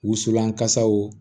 Wusulan kasaw